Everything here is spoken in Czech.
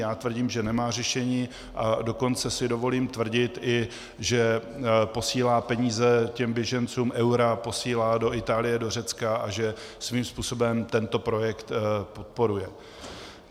Já tvrdím, že nemá řešení, a dokonce si dovolím i tvrdit, že posílá peníze těm běžencům, eura, posílá do Itálie, do Řecka a že svým způsobem tento projekt podporuje.